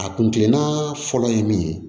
A kun kilenna fɔlɔ ye min ye